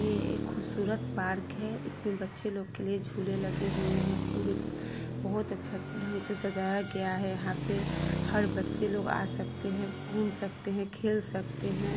यह एक खूबसूरत पार्क है| इसमें बच्चे लोग के लिए झूले लगे हुए है| पुरे बहुत अच्छा ढंग से सजाया गया है| यहाँ पे हर बच्चे लोग आ सकते है घूम सकते हैं खेल सकते हैं।